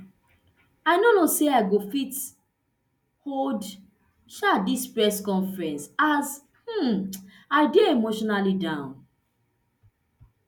i no know say i go fit hold um dis press conference as um i dey emotionally down